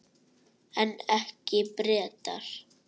En ekki Bretar.